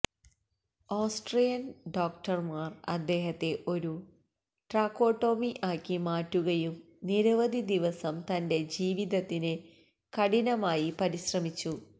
Austrian ഡോക്ടർമാർ അദ്ദേഹത്തെ ഒരു ട്രാക്കോട്ടോമി ആക്കി മാറ്റുകയും നിരവധി ദിവസം തന്റെ ജീവിതത്തിന് കഠിനമായി പരിശ്രമിച്ചു